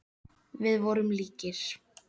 Við vorum líkir.